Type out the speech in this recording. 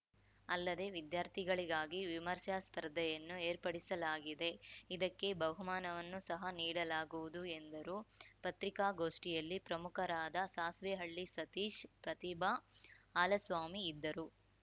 ಅಲ್ಲದೆ ವಿದ್ಯಾರ್ಥಿಗಳಿಗಾಗಿ ವಿಮರ್ಶಾ ಸ್ಪರ್ಧೆಯನ್ನು ಏರ್ಪಡಿಸಲಾಗಿದೆ ಇದಕ್ಕೆ ಬಹುಮಾನವನ್ನು ಸಹ ನೀಡಲಾಗುವುದು ಎಂದರು ಪತ್ರಿಕಾಗೋಷ್ಠಿಯಲ್ಲಿ ಪ್ರಮುಖರಾದ ಸಾಸ್ವೆಹಳ್ಳಿ ಸತೀಶ್‌ ಪ್ರತಿಭಾ ಹಾಲಸ್ವಾಮಿ ಇದ್ದರು